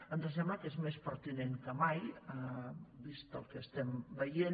ens sembla que és més pertinent que mai vist el que estem veient